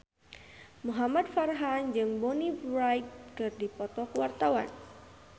Muhamad Farhan jeung Bonnie Wright keur dipoto ku wartawan